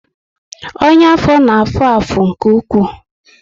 Ọnyá afọ na afụ afụ nke ụkwụ